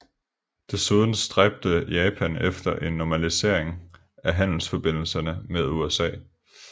Desuden stræbte Japan efter en normalisering af handelsforbindelserne med USA